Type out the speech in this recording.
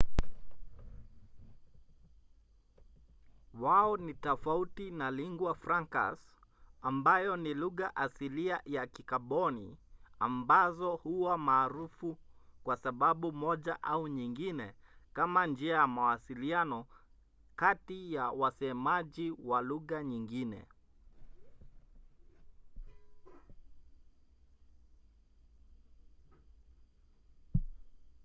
wao ni tofauti na lingua francas ambayo ni lugha asilia au ya kikaboni ambazo huwa maarufu kwa sababu moja au nyingine kama njia ya mawasiliano kati ya wasemaji wa lugha nyingine